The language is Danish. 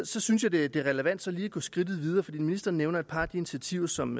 så synes jeg det er relevant lige at gå skridtet videre for ministeren nævner et par af de initiativer som